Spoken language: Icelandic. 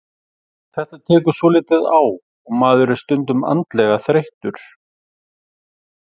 Þetta tekur svolítið á og maður er stundum andlega þreyttur.